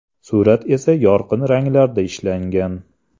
Surat esa yorqin ranglarda ishlangan.